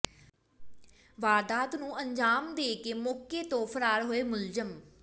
ਵਾਰਦਾਤ ਨੂੰ ਅੰਜ਼ਾਮ ਦੇ ਕੇ ਮੌਕੇ ਤੋਂ ਫ਼ਰਾਰ ਹੋਏ ਮੁਲਜ਼ਮ